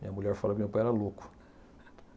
Minha mulher fala que meu pai era louco.